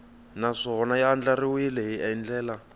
naswona ya andlariwile hi ndlela